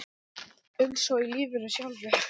Eins og í lífinu sjálfu.